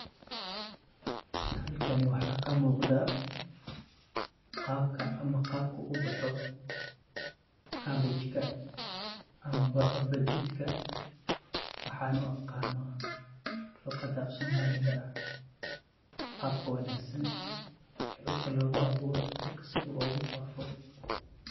Halkani waxaa ka muqdaa qabka ama qabku ubaho kabejka ama bocor badidka. Waxaan u aqaano luqada afsoomaaliga iyo qabka wanaagsan dulka loogu abuuro iyo dulka sidhu ugufaafo.